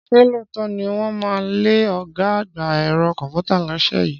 Ṣé lóòótọ́ ni wọ́n máa lé ọ̀gá àgbà ẹ̀rọ kọ̀ǹpútà lọ́sẹ̀ yìí?